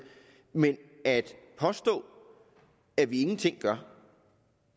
men at påstå at vi ingenting gør